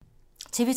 TV 2